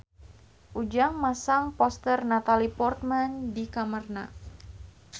Ujang masang poster Natalie Portman di kamarna